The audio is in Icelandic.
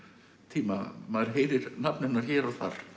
tíma maður heyrir nafn hennar hér og þar